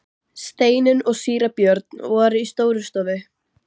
Steinunn og síra Björn voru í Stórustofu.